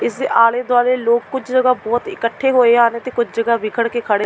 ਇਸਦੇ ਆਲ਼ੇ ਦੁਆਲੇ ਲੋਕ ਕੁਝ ਜਗ੍ਹਾ ਬਹੁਤ ਇਕੱਠੇ ਹੋਏ ਆ ਨੇਂ ਤੇ ਕੁਝ ਜਗ੍ਹਾ ਬਿਖੜ ਕੇ ਖੜੇ--